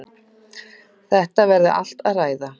Þetta verði allt að ræða.